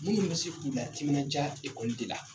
Mun bɛ se se k'u la timinandiya ekɔli de la .